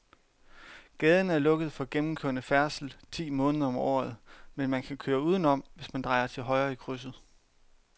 Gaden er lukket for gennemgående færdsel ti måneder om året, men man kan køre udenom, hvis man drejer til højre i krydset.